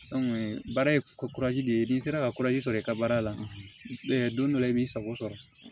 baara ye de ye n'i sera ka sɔrɔ i ka baara la don dɔ la i b'i sago sɔrɔ